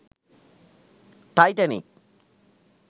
titanic